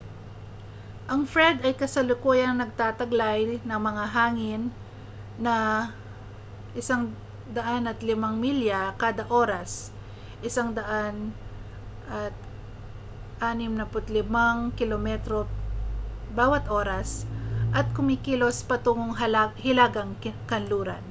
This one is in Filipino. ang fred ay kasalukuyang nagtataglay ng mga hangin na 105 milya kada oras 165 km/h at kumikilos patungong hilagang-kanluran